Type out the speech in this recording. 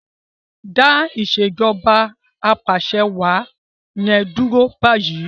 Dá Ìṣèjọba Apàṣẹwàá yen dúró bayi!